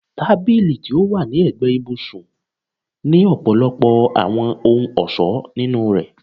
Tabili ti o wa ni ẹgbẹ ibusun ni ọpọlọpọ awọn ohun-ọṣọ ninu rẹ